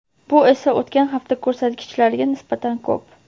Bu esa o‘tgan hafta ko‘rsatkichlariga nisbatan ko‘p.